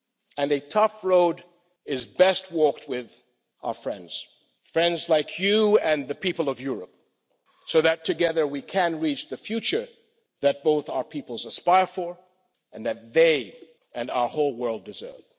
And a tough road is best walked with our friends friends like you and the people of Europe, so that together we can reach the future that both our peoples aspire to and that they and our whole world deserve.